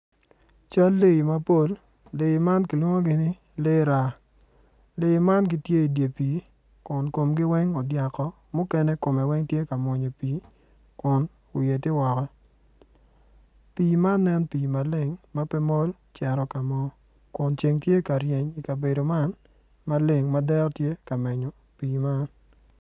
Cal lee mapol lee man kilwongo ni lraa lee man gitye i dye pii mukene komgi odyak woko mukene komgi tye ka mwony i pii kun wiye tye woko pi iman nen ka maleng ma pe mol cito ka mo kun cend tye ka ryen i kabeedo maleng man.